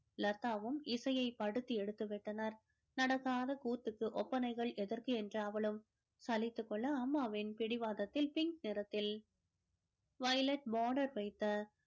லதாவும் இசையை படுத்தி எடுத்து விட்டனர் நடக்காத கூத்துக்கு ஒப்பனைகள் எதற்கு என்று அவளும் சலித்துக் கொள்ள அம்மாவின் பிடிவாதத்தில் pink நிறத்தில் violet border வைத்த